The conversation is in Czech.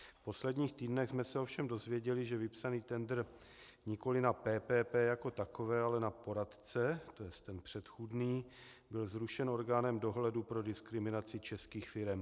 V posledních týdnech jsme se ovšem dozvěděli, že vypsaný tendr nikoliv na PPP jako takové, ale na poradce, to je ten předchozí, byl zrušen orgánem dohledu pro diskriminaci českých firem.